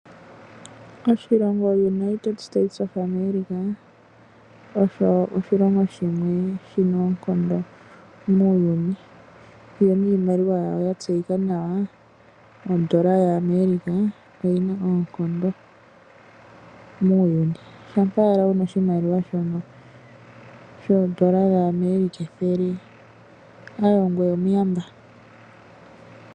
Oshilongo United States of America osho oshilongo shimwe shino oonkondo muuyuni. Yo niimaliwa yawo yatseyika nawa oodollar yaAmerica oyina oonkondo muuyuni. Shampa ala wuna oshimaliwa shono shoodollar dhaAmerica ethele ongoye omuyamba.